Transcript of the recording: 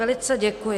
Velice děkuji.